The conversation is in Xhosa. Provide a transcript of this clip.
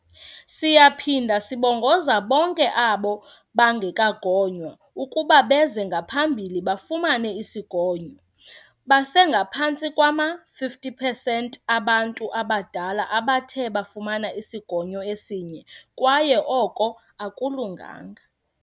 "Siyaphinda sibongoza bonke abo bangekagonywa ukuba beze ngaphambili bafumane isigonyo. Basengaphantsi kwama-50 pesenti abantu abadala abathe bafumana isigonyo esinye kwaye oko akulunganga."